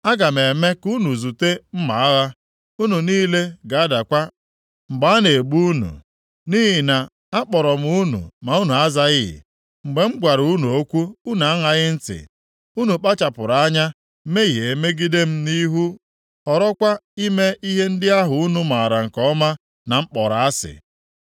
Aga m eme ka unu zute mma agha; unu niile ga-adakwa mgbe a na-egbu unu. Nʼihi na akpọrọ m unu ma unu azaghị; mgbe m gwara unu okwu, unu aṅaghị ntị. Unu kpachapụrụ anya mehie megide m nʼihu, họrọkwa ime ihe ndị ahụ unu maara nke ọma na m kpọrọ asị.”